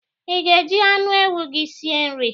I ga- eji anụ ewu gị si nri?